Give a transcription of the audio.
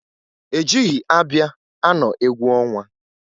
E jighi ábịà anọ egwu ọnwa.